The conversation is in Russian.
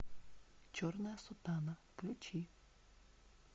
черная сутана включи